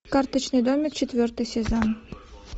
карточный домик четвертый сезон